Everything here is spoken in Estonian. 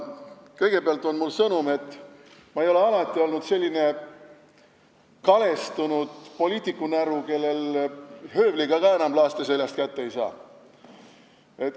Kõigepealt on mul sõnum, et ma ei ole alati olnud selline kalestunud poliitikunäru, kellel höövliga ka enam laaste seljast kätte ei saa.